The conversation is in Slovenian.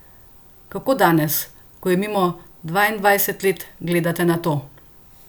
Kako danes, ko je mimo dvaindvajset let, gledate na to?